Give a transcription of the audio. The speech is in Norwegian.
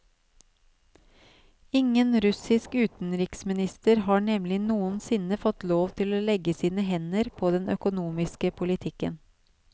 Ingen russisk utenriksminister har nemlig noensinne fått lov til å legge sine hender på den økonomiske politikken.